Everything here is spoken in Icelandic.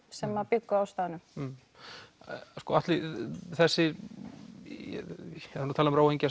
sem bjuggu á staðnum já Atli það er talað